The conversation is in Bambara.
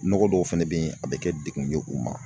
Nɔgɔ dɔw fɛnɛ bɛ yen a bɛ kɛ degun ye u ma